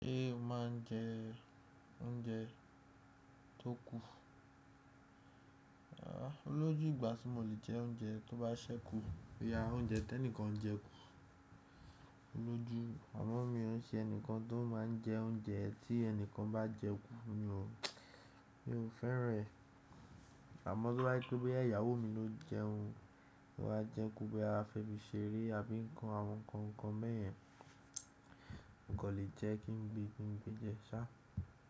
Ṣé o máa ń jẹ oúnjẹ tó kú? Ah, olójú ìgbà tí mo lè jẹ oúnjẹ tó bá ṣẹ́ kú, bíi à oúnjẹ tí ẹnìkan jẹ kú. Olójú, àmọ́ mi ò n ṣe ẹnìkan tó máa ń jẹ oúnjẹ tí ẹnìkan bá jẹ kú ni o. Mi ò fẹ́ran ẹ̀. Àmọ́ tí wá pé bí ẹyàwó mi ló jẹ òun, ó bá jẹ kú bí a fẹ́ fi ṣeré àbí ń kan àwọn ǹkan nkan beyèn, kò lè jẹ́ kí n gbé e péńpé jẹ ṣá.